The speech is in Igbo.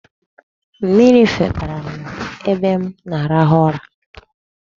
Mmiri febara n'ebe m na-arahụ ụra.